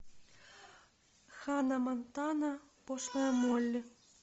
ханна монтана пошлая молли